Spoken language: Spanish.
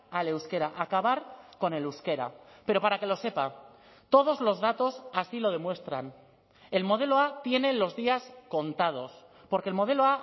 al euskera acabar con el euskera pero para que lo sepa todos los datos así lo demuestran el modelo a tiene los días contados porque el modelo